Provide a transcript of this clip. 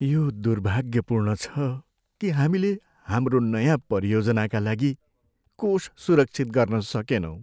यो दुर्भाग्यपूर्ण छ कि हामीले हाम्रो नयाँ परियोजनाका लागि कोष सुरक्षित गर्न सकेनौँ।